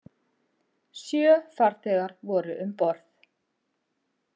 Sjö farþegar voru um borð